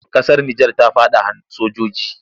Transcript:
Ƙasar Nijar ta faɗa hannun sojiji.